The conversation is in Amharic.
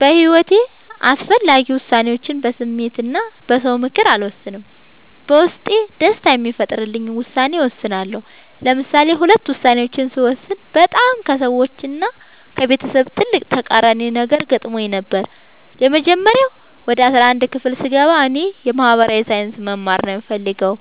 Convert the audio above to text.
በሒወቴ አስፈላጊ ወሳኔዎችን በስሜት እና በ ሰው ምክር አልወሰንም። በውስጤ ደስታን የሚፈጥርልኝን ውሳኔ እወስናለሁ። ለምሳሌ ሁለት ውሳኔዎችን ስወስን በጣም ከሰዎች እና ከቤተሰብ ትልቅ ተቃራኒ ነገር ገጥሞኝ ነበር። የመጀመሪያው ወደ አስራአንድ ክፍል ስገባ እኔ የ ማህበራዊ ሳይንስ መማር ነው የምፈልገው።